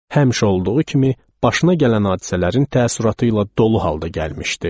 Həmişə olduğu kimi, başına gələn hadisələrin təəssüratı ilə dolu halda gəlmişdi.